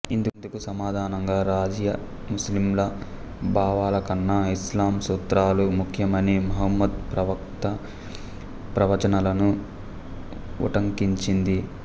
ఇందుకు సమాధానంగా రజియా ముస్లింల భావాలకన్నా ఇస్లాం సూత్రాలు ముఖ్యమనీ ముహమ్మద్ ప్రవక్త ప్రవచనాలను ఉటంకించింది